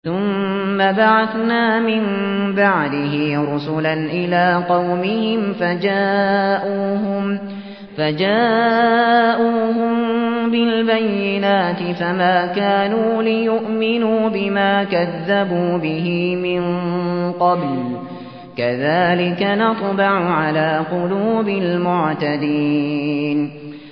ثُمَّ بَعَثْنَا مِن بَعْدِهِ رُسُلًا إِلَىٰ قَوْمِهِمْ فَجَاءُوهُم بِالْبَيِّنَاتِ فَمَا كَانُوا لِيُؤْمِنُوا بِمَا كَذَّبُوا بِهِ مِن قَبْلُ ۚ كَذَٰلِكَ نَطْبَعُ عَلَىٰ قُلُوبِ الْمُعْتَدِينَ